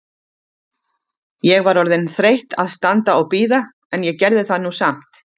Ég var orðin þreytt að standa og bíða, en ég gerði það nú samt.